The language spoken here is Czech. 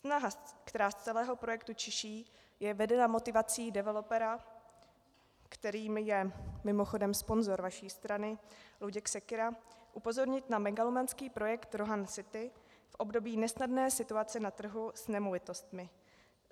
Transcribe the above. Snaha, která z celého projektu čiší, je vedena motivací developera, kterým je mimochodem sponzor vaší strany Luděk Sekyra, upozornit na megalomanský projekt Rohan City v období nesnadné situace na trhu s nemovitostmi.